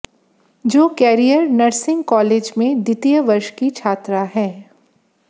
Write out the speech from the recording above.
जो career nursing college में द्वितीय वर्ष की छात्रा है